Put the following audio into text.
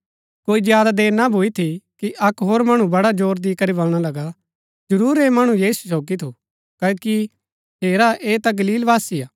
कोई ज्यादा देर ना भूई थी कि अक्क होर मणु बड़ा जोर दी करी बलणा लगा जरूर ऐह मणु यीशु सोगी थू क्ओकि हेरा ऐह ता गलीलवासी हा